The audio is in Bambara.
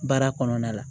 Baara kɔnɔna la